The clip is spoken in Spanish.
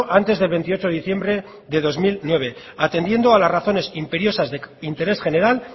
antes del veintiocho de diciembre de dos mil nueve atendiendo a las razones imperiosas de interés general